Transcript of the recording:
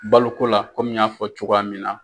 Baloko la komi n y'a fɔ cogoya min na.